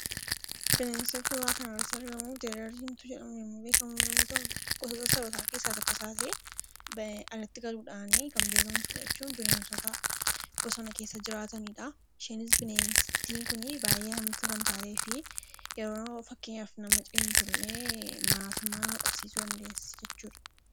Bineensi suuraa kanarratti argamu jeedala diimtuu jedhamuun yemmuu beekamu yoo ta'u, gosoota sarootaa keessaa isa tokko ta'ee, alatti galuudhaan kan beekamtudha. Bineensota bosona keessa jiraatanidha isheenis bineentiin kun baay'ee hamtuu kan taatee fi yeroo fakkeenyaaf nama ciniintullee maraatumma nama qabsiisuu dandeessi jechuudha.